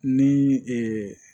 Ni